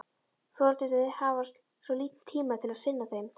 Foreldrarnir hafa svo lítinn tíma til að sinna þeim.